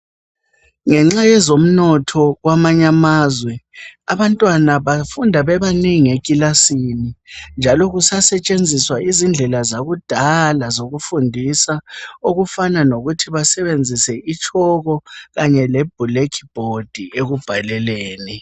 Ngenxa yezomnotho kwamanye amazwe, abantwana bafunda bebanengi ekilasini njalo kusasetshenziswa izindlela zakudala zokufundisa okufana lokuthi basebenzise itshoko kanye le black board ekubhaleleni.